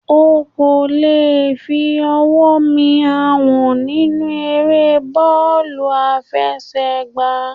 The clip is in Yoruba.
O kò lè fi ọwọ́ mi Àwọ̀n nínú eré bọ́ọ̀lù àfẹsẹ̀ gbá.